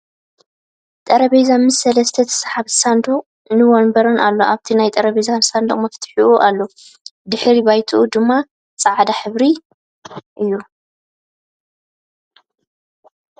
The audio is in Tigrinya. ጠርጴዝ ምስ ሰለስተ ተስሓቢ ሳንዱቕ ን ወንበርን ኣሎ ኣብቲ ናይ ጠርፔዛ ሳንዱቕ መፍቱሕ ኣሎ ። ድሕረ ባይትኡ ድማ ፅዕዳ ሕብሪ እዩ ።